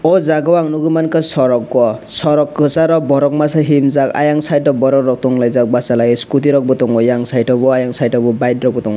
oh jaga o ang nugui mangkha soroko o sorok kwcharo borok masa himjak ayang side o borok rok tonglaijak bachalaijak scooty rok bo tongo eyang sideo bo ayang sideo bo bike rokbo tongo.